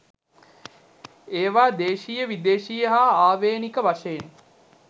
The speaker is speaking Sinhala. ඒවා දේශීය විදේශීය හා ආවේණික වශයෙන්